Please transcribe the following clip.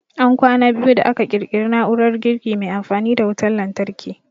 An kwana biyu da aka ƙirƙiri na'urar girki mai amfani da wutan lantarki